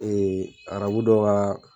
arabu dɔ ka.